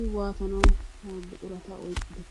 I waattana ha buqurata oyqqide?